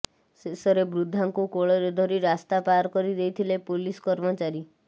ଶେଷରେ ବୃଦ୍ଧାଙ୍କୁ କୋଳରେ ଧରି ରାସ୍ତା ପାର କରି ଦେଇଥିଲେ ପୋଲିସ କର୍ମଚାରୀ